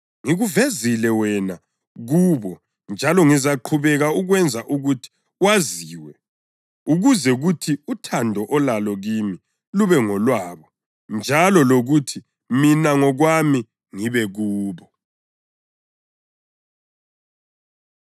Ngikuvezile wena kubo njalo ngizaqhubeka ukwenza ukuthi waziwe ukuze kuthi uthando olalo kimi lube ngolwabo njalo lokuthi mina ngokwami ngibe kubo.”